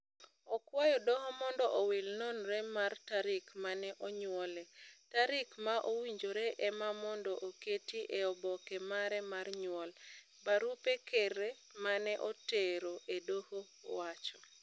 Okwayo doho mondo owil nonre mar tarik mane onyuole. Tarik ma owinjore ema mondo oketi e oboke mare mar nyuol." Barupe Kerre mane otero e doho wacho.